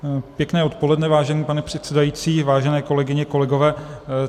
Pěkné odpoledne, vážený pane předsedající, vážené kolegyně, kolegové.